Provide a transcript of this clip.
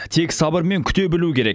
тек сабырмен күте білу керек